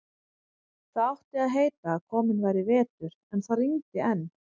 Það átti að heita að kominn væri vetur, en það rigndi enn.